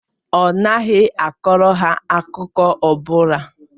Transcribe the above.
Ọ naghị akọrọ ha akụkọ ọ bụla.